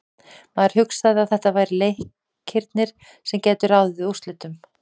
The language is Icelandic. Maður hugsaði að þetta væru leikirnir sem gætu ráðið úrslitum.